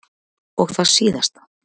Og það síðasta.